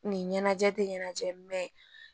Nin ɲɛnajɛ tɛ ɲɛnajɛ